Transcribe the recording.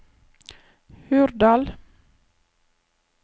Hurdal